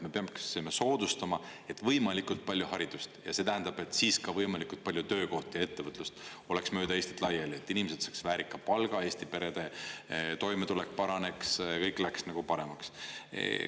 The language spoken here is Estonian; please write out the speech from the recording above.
Me peaksime soodustama võimalikult palju haridust ja see tähendab, et siis ka võimalikult palju töökohti ja ettevõtlust oleks mööda Eestit laiali, et inimesed saaksid väärika palga, Eesti perede toimetulek paraneks, kõik läheks nagu paremaks.